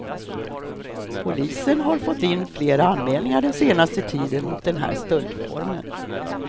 Polisen har fått in flera anmälningar den senaste tiden mot den här stöldformen.